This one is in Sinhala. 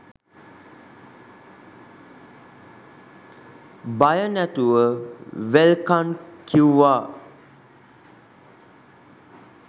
බය නැතුව වෙල්කං කිව්වා